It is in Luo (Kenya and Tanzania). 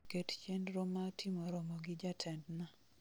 Ket chenro ma timo romo gi jatendna